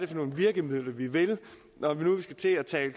for nogle virkemidler vi vil når vi nu skal til at tale